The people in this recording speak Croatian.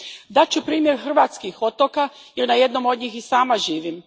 Dat ću primjer hrvatskih otoka jer na jednom od njih i sama živim.